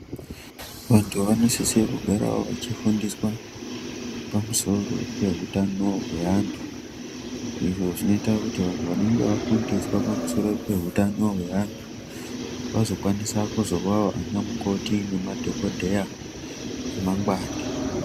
Vantu vanosise kugarawo vachifundiswa pamusoro pehutano hweantu, izvo zvinoita kuti vantu vanenge vafundiswa pamusoro peutano hweantu, vazokwanisa kuzovawo vanamukoti nemadhokodheya emangwani.